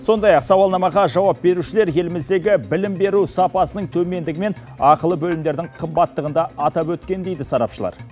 сондай ақ сауалнамаға жауап берушілер еліміздегі білім беру сапасының төмендігі мен ақылы бөлімдердің қымбаттығын да атап өткен дейді сарапшылар